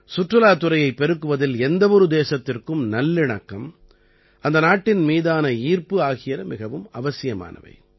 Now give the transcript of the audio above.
சுற்றுலாத் துறையைப் பெருக்குவதில் எந்த ஒரு தேசத்திற்கும் நல்லிணக்கம் அந்த நாட்டின் மீதான ஈர்ப்பு ஆகியன மிகவும் அவசியமானவை